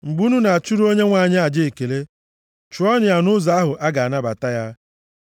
“Mgbe unu na-achụrụ Onyenwe anyị aja ekele, chụọnụ ya nʼụzọ ahụ a ga-anabata ya.